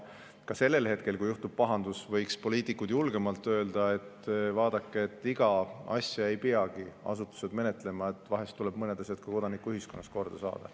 Aga ka siis, kui on juhtunud pahandus, võiks poliitikud julgemalt öelda, et vaadake, igat asja ei peagi asutused menetlema, vahel tuleb mõned asjad ka kodanikuühiskonnas korda saada.